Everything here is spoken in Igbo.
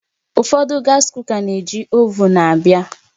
Ụfọdụ gas kuka na-eji ovuun abịa